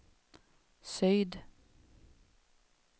syd